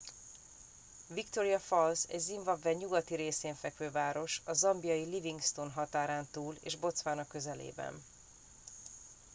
victoria falls egy zimbabwe nyugati részén fekvő város a zambiai livingstone határán túl és botswana közelében